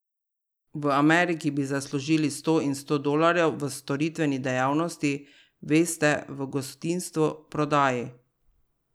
V Ameriki bi zaslužili sto in sto dolarjev v storitveni dejavnosti, veste, v gostinstvu, prodaji.